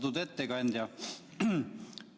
Austatud ettekandja!